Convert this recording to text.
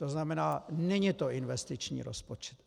To znamená, není to investiční rozpočet.